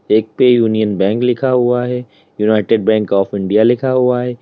एक पे union bank लिखा हुआ है यूनाइटेड बैंक ऑफ़ इंडिया लिखा हुआ है।